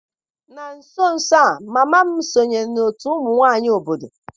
Na nso nso a, mama m sonyeere otu ụmụ nwanyị obodo.